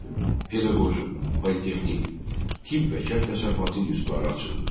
Pedaqoji, politexnik, tibb və kənd təsərrüfatı institutları açıldı.